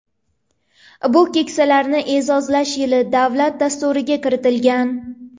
Bu Keksalarni e’zozlash yili davlat dasturiga kiritilgan.